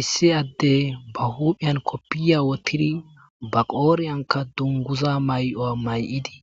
issi addey ba huuphiyan koppiya wotidi baqooriyanka dunguza mayowa may7idi